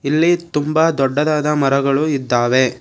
ಇಲ್ಲಿ ತುಂಬ ದೊಡ್ಡದಾದ ಮರಗಳು ಇದ್ದಾವೆ.